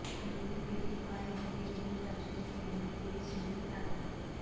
খালি পেটে পায়ে হেঁটে ভিন রাজ্য থেকে ঘরে ফিরছিলেন তাঁরা